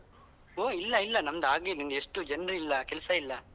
ಹೂ ಇಲ್ಲಾ ಇಲ್ಲಾ ನಮ್ದು ಆಗ್ಲಿಲ್ಲಾ ನಮ್ದು ಎಷ್ಟು ಜನ್ರಿಲ್ಲ ಕೆಲ್ಸ ಇಲ್ಲಾ.